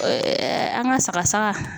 an ka saga saga